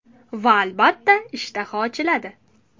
Va albatta, ishtaha ochiladi!